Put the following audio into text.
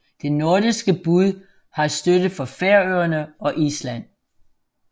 Det nordiske bud har støtte fra Færøerne og Island